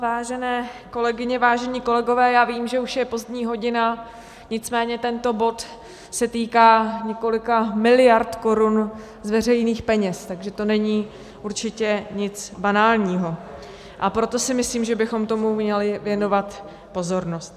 Vážené kolegyně, vážení kolegové, já vím, že už je pozdní hodina, nicméně tento bod se týká několika miliard korun z veřejných peněz, takže to není určitě nic banálního, a proto si myslím, že bychom tomu měli věnovat pozornost.